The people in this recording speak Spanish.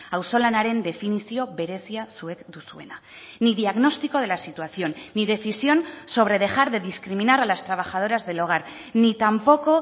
auzolanaren definizio berezia zuek duzuena ni diagnóstico de la situación ni decisión sobre dejar de discriminar a las trabajadoras del hogar ni tampoco